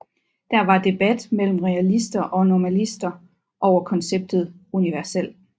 Der var debat mellem realister og nominalister over konceptet universel